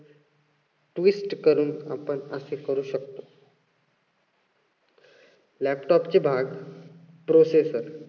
twist करून आपण असे करू शकतो. laptop चे भाग processor